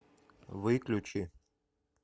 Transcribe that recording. выключи